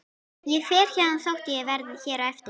Ég fer héðan þótt ég verði hér eftir.